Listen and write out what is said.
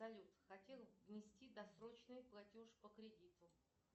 салют хотел внести досрочный платеж по кредиту